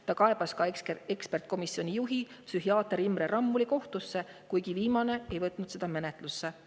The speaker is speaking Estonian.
Ta kaebas ka ekspertkomisjoni juhi, psühhiaater Imre Rammuli kohtusse, kuigi viimane ei võtnud seda menetlusse.